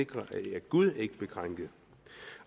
sikre at gud ikke bliver krænket